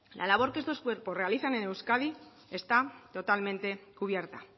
la labor que estos cuerpos realizan en euskadi está totalmente cubierta